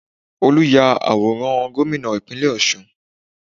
Olu ya àwòrán gómìnà Ìpínlẹ̀ Ọ̀ṣun